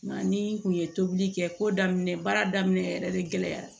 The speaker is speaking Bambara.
Nka ni n kun ye tobili kɛ ko daminɛ baara daminɛ yɛrɛ de gɛlɛya